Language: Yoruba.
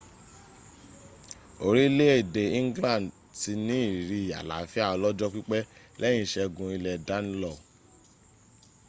orílẹ̀èdè england ti ní ìrírí àlàáfíà ọlọ́jọ́ pípẹ́ lẹ́yìn ìṣẹ́gun ilẹ̀ danelaw